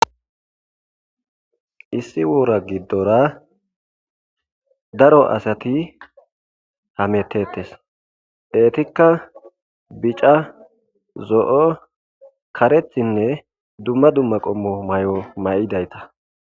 Issi woora giddora daro asati hametettes. Eetikka bica,zo'o,karethinne dumma dumma qommo mayo mayidayta.